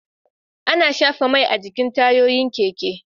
Ana shafa Mai a jikin tayoyin keke